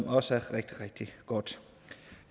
også rigtig rigtig godt